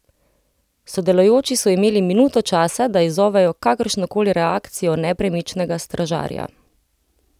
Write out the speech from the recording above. Sodelujoči so imeli minuto časa, da izzovejo kakršno koli reakcijo nepremičnega stražarja.